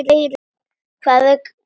Hvað er málið, gamli?